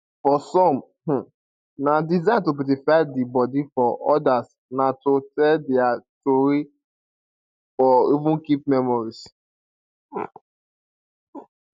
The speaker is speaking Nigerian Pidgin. for some um na design to beautify di body for odas na to tell dia tori or even keep memories